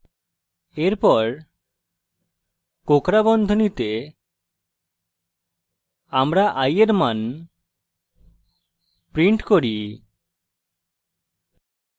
এরপর কোঁকড়া বন্ধনীতে আমরা i এর then print করি